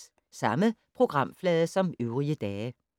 Samme programflade som øvrige dage